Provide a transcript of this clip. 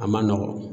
A man nɔgɔn